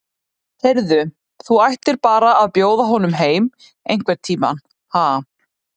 Heyrðu. þú ættir bara að bjóða honum heim einhvern tíma, ha.